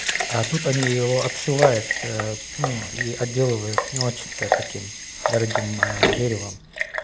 а тут они его обшивают ну и отделывают не очень-то таким дорогим деревом